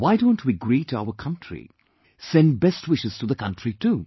Why don't we greet our country; send best wishes to the country too